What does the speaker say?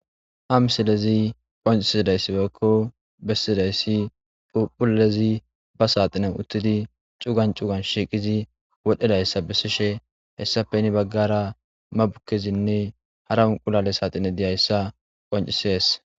Ha misilezi qoncisidayssi woykko bessidayssi phuuphphuullezi ba saaxinan uttidi cugan cugan shiiqizi wodhedayssa bessishe hessappehini baggara mabukkezinne hara unqulale saaxine di7ayssa qoncisees.